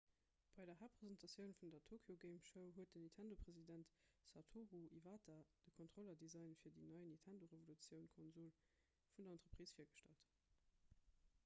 bei der haaptpresentatioun vun der tokyo game show huet den nintendo-president satoru iwata de kontrollerdesign fir déi nei 'nintendo revolution'-konsol vun der entreprise virgestallt